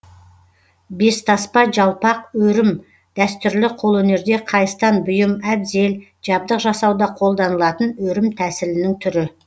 бестаспа жалпақ өрім дәстүрлі қолөнерде қайыстан бұйым әбзел жабдық жасауда қолданылатын өрім тәсілінің түрі